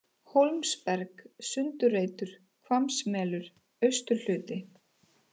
Hólmsberg, Sundareitur, Hvammsmelur, Austurhluti